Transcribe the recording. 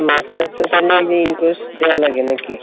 masters আগে in course দেওয়া লাগে নাকি?